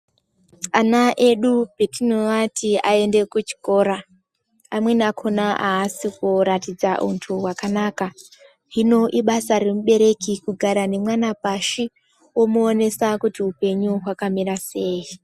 Ana edu patinovati aende kuchikora amweni akona asi kuratidza untu wakanaka hino ibasa remubereki kugara nemwana pashi omuonesa kuti hupenyu hwakamira sei.